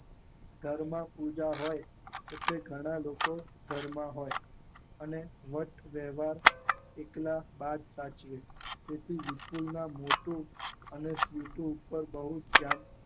ઘરમાં પૂજા હોય એટલે ઘણા લોકો ઘરમાં હોય અને વટ વૈવાર એકલા બા જ સાચવે તેથી વિપુલના મોટું અને સ્વીટુ ઉપર બહુ ત્યાગ